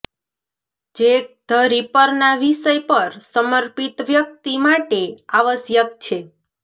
Jack the રિપરના વિષય પર સમર્પિત વ્યક્તિ માટે આવશ્યક છે